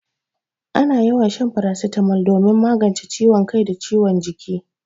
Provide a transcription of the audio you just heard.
Ana yawan shan farasitamol domin magance ciwon kai da ciwon jiki.